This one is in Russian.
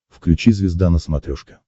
включи звезда на смотрешке